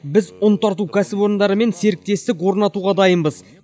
біз ұн тарту кәсіпорындарымен серіктестік орнатуға дайынбыз